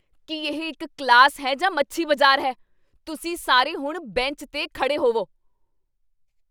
ਕੀ ਇਹ ਇੱਕ ਕਲਾਸ ਹੈ ਜਾਂ ਮੱਛੀ ਬਜ਼ਾਰ ਹੈ? ਤੁਸੀਂ ਸਾਰੇ ਹੁਣ ਬੈਂਚ 'ਤੇ ਖੜ੍ਹੇ ਹੋਵੋ!